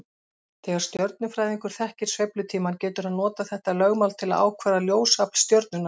Þegar stjörnufræðingur þekkir sveiflutímann getur hann notað þetta lögmál til að ákvarða ljósafl stjörnunnar.